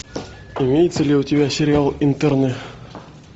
имеется ли у тебя сериал интерны